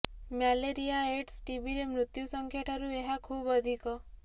malaria AIDS ଟିବିରେ ମୃତ୍ୟୁ ସଂଖ୍ୟା ଠାରୁ ଏହା ଖୁବ ଅଧିକ